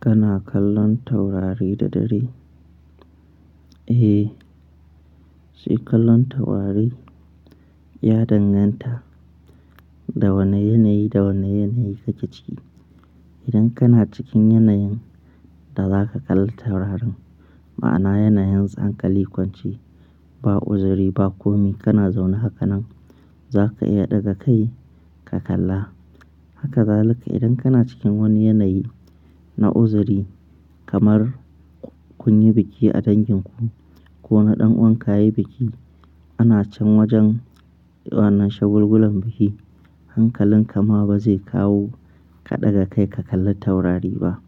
Kana kallon taurari da dare? Eh, shi kallon taurari ya danganta da wane yanayi da wane yanayi kake ci. Idan kana cikin yanayin da za ka kalla taurarin, ma'ana yanayin tsankali kwance, ba uzuri, ba komi kana zaune haka nan, za ka iya ɗaga kai ka kalla. Haka zalika idan kana cikin wani yanayi na uzuri kamar kun yi biki a dangin ku ko na ɗan'uwanka yayi biki, ana can wajen wannan shagulgulan biki, hankalin ka ma ba zai kawo ka ɗaga kai ka kalli taurari ba.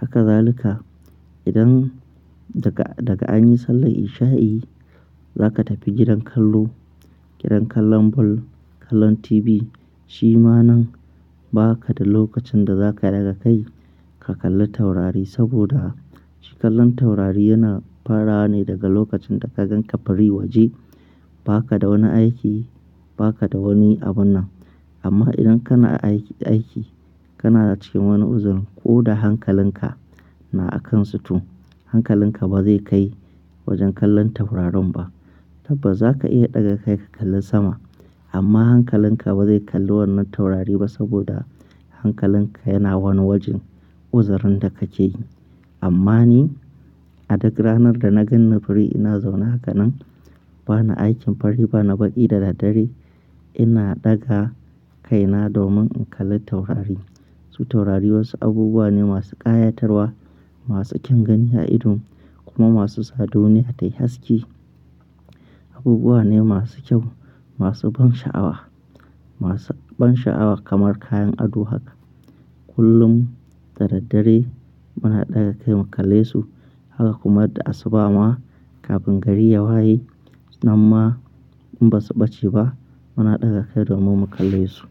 Haka zalika idan daga, daga an yi sallar isha'i za ka tafi gidan kallo, gidan kallon ball, kallon TV, shi ma nan ba ka da lokacin da za ka ɗaga kai ka kalli taurari saboda shi kallon taurari yana fara ne daga lokacin da ka gan ka fari waje, ba ka da wani aiki, ba kawai da wani abun nan. Amma idan kana aiki, aiki kana cikin wani uzuri ko da hankalin ka na a kan situ, hankalin ka ba zai kai wajen kallon taurarin ba. Tabbas za ka iya ɗaga kai ka kalli sama amma hankalin ka ba zai kalli wannan taurari ba saboda hankalin ka yana wani wajen uzurin da kake. Amma ni a duk ranar da na gan ni fari ina zaune haka nan, ba na aikin fari, ba na baƙi da dare, ina ɗaga kaina domin in kalli taurari. Su taurari wasu abubuwa ne masu ƙayatarwa, masu kyan gani a idon kuma masu tsado duniya ta yi haske. Abubuwa ne masu kyau, masu ban sha'awa, masu ban sha'awa kamar kayan ado haka. Kullum da daddare muna ɗaga kai mu kalle su, haka kuma da asuba ma kafin gari ya waye. Na ma in ba su ɓace ba, muna ɗaga kai domin mu kalle su.